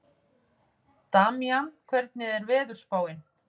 Damjan, hvernig er veðurspáin?